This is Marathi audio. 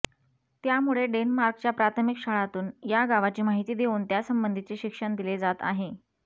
त्यामुळे डेन्मार्कच्या प्राथमिक शाळांतून या गावाची माहिती देऊन त्यासंबंधीचे शिक्षण दिले जात आहे